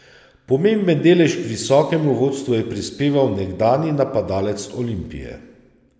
Pomemben delež k visokemu vodstvu je prispeval nekdanji napadalec Olimpije.